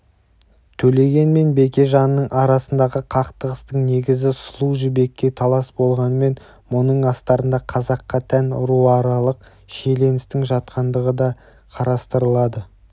төлеген мен бекежанның арасындағы қақтығыстың негізі сұлу жібекке талас болғанымен мұның астарында қазаққа тән руаралық шиеліністің жатқандығы да қарастырылды